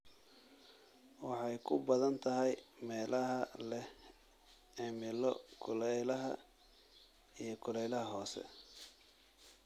Waxay ku badan tahay meelaha leh cimilo kulaylaha iyo kulaylaha hoose.